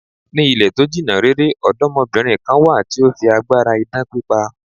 Ní ilẹ̀ to jìnna rere, ọ̀dọ́mọbìnrin kan wà tí ó fi agbára idán pípa.